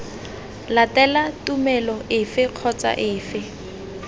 latela tumelo efe kgotsa efe